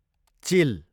चिल